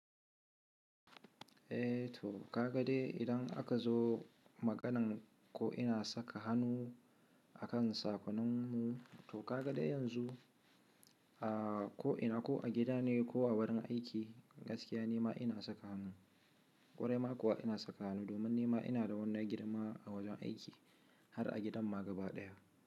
Eh to kagade idan aka zo maganan ko ina saka hannu akan sakonni, to kagade yanzu a ko ina ko a gida ne ko a wurin aiki gaskiya nima ina saka hannu, kwarai ma kuwa ina saka hannu domin nima ina da wani girma a wajen aiki har a gidan magaba daya.